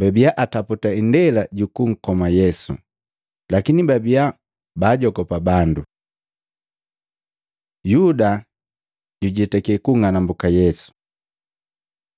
babia ataputa indela juku nkoma Yesu, lakini babiya baajogopa bandu. Yuda jujetake kunng'anambuka Yesu Matei 26:14-16; Maluko 14:10-11